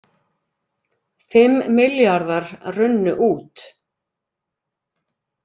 Fimm milljarðar runnu út